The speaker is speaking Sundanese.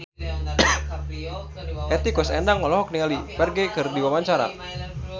Hetty Koes Endang olohok ningali Ferdge keur diwawancara